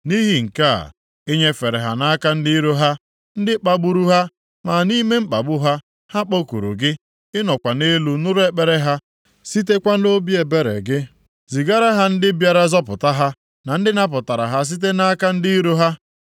Nʼihi nke a, i nyefere ha nʼaka ndị iro ha, ndị kpagburu ha. Ma nʼime mkpagbu ha, ha kpọkuru gị, ị nọkwa nʼeluigwe nụ ekpere ha, sitekwa nʼobi ebere gị zigara ha ndị bịara zọpụta ha, na ndị napụtara ha site nʼaka ndị iro ha.